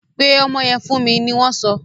Pe ọmọ yẹn fún mi! ni wọn so.